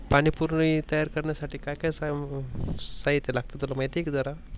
पानी पुरी तयार करण्यासाठी काय काय साहित्य लागते माहित आहे का तुला?